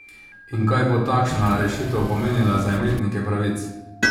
In kaj bo takšna rešitev pomenila za imetnike pravic?